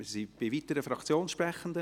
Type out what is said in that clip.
Gibt es noch weitere Fraktionssprechende?